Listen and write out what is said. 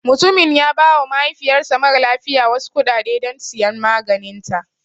Mutumin ya ba wa mahaifiyar sa mara lafiya wasu kuɗaɗe don siyan maganinta